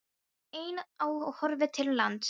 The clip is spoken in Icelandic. Hún var ein á og horfði til lands.